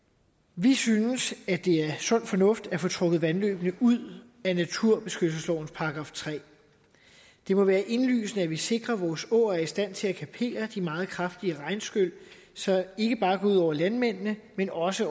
vi synes det er sund fornuft at få trukket vandløbene ud af naturbeskyttelseslovens § tredje det må være indlysende at vi sikrer at vores åer er i stand til at kapere de meget kraftige regnskyl som ikke bare går ud over landmændene men også